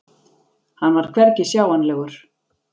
Hann var hvergi sjáanlegur.